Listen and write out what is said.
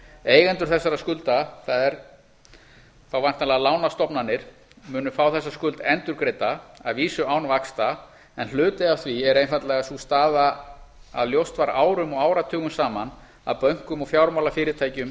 eigendur þessara skulda það er þá væntanlega lánastofnanir munu fá þessa skuld endurgreidda að vísu án vaxta en hluti af því er einfaldlega sú staða að ljóst var árum og áratugum saman að bönkum og fjármálafyrirtækjum